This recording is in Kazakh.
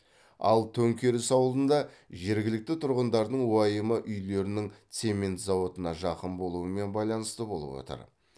ал төңкеріс ауылында жергілікті тұрғындардың уайымы үйлерінің цемент зауытына жақын болуымен байланысты болып отыр